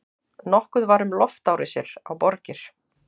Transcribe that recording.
Nokkuð var um loftárásir á borgir.